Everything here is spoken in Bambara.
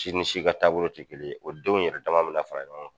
Si ni si ka taabolo tɛ kelen ye o denw yɛrɛ dama me na fara ɲɔgɔn kan